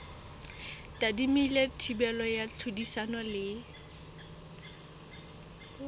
tadimilwe thibelo ya tlhodisano le